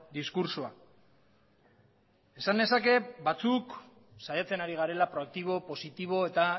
diskurtsoa esan nezake batzuk saiatzen ari garela proaktibo positibo eta